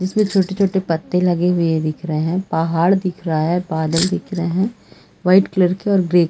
जिसमें छोटे-छोटे पत्ते लगे हुए दिख रहे हैं पहाड़ दिख रहा है बादल दिख रहे है वाइट कलर के और ग्रे --